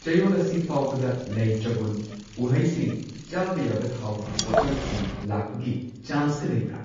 ꯆꯌꯣꯜ ꯑꯁꯤ ꯐꯥꯎꯕꯗ ꯂꯩ ꯆꯕꯨꯟ, ꯎꯍꯩꯁꯤꯡ, ꯆꯥꯕ ꯌꯥꯕ ꯊꯥꯎꯒꯤ ꯄꯣꯠꯂꯝꯁꯤꯡ ꯂꯥꯛꯄꯒꯤ ꯆꯥꯟꯁꯀ ꯂꯩꯕ꯭ꯔꯥ?